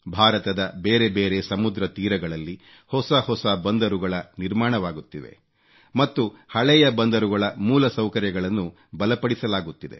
ಭಾರತದ ಬೇರೆ ಬೇರೆ ಸಮುದ್ರ ತೀರಗಳಲ್ಲಿ ಹೊಸ ಹೊಸ ಬಂದರುಗಳು ನಿರ್ಮಾಣವಾಗುತ್ತಿವೆ ಮತ್ತು ಹಳೆಯ ಬಂದರುಗಳ ಮೂಲಸೌಕರ್ಯಗಳನ್ನು ಬಲಪಡಿಸಲಾಗುತ್ತಿದೆ